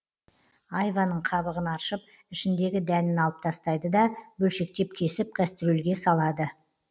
айваның қабығын аршып ішіндегі дәнін алып тастайды да бөлшектеп кесіп кастрюльге салады